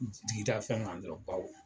Jigida fɛn kan dɔrɔn baw.